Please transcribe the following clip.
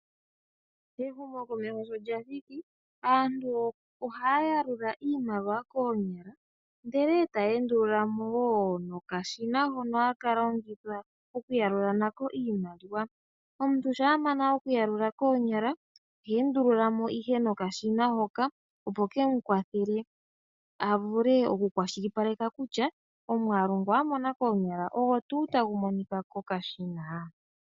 Ehumo komeho sho lya thiki aantu ohaya yalula iimaliwa koonyala ndele etaye endululamo nokashina hono haka longithwa okuyalula nako iimaliwa. Omuntu shampa amana okuyalula koonyala ohe endululamo ihe noka shina hoka opo kemu kwathele a vule oku kwashilipaleka kutya omwalu ngu amona koonyala ogo tuu tagu monika koka shina.